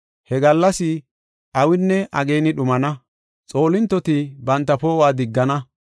He gallas awinne ageeni dhumana; xoolintoti banta poo7uwa diggana.